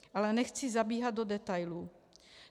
Ale nechci zabíhat do detailů.